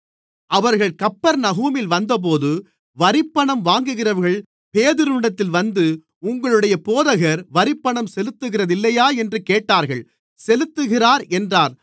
அவர்கள் கப்பர்நகூமில் வந்தபோது வரிப்பணம் வாங்குகிறவர்கள் பேதுருவினிடத்தில் வந்து உங்களுடைய போதகர் வரிப்பணம் செலுத்துகிறதில்லையா என்று கேட்டார்கள் செலுத்துகிறார் என்றான்